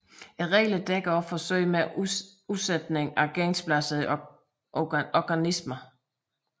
Reglerne dækker også forsøg med udsætning af gensplejsede organismer